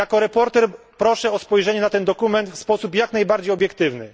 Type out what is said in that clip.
Jako sprawozdawca proszę o spojrzenie na ten dokument w sposób jak najbardziej obiektywny.